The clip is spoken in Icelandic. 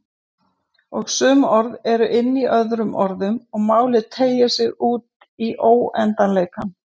Og sum orð eru inní öðrum orðum og málið teygir sig útí óendanleikann.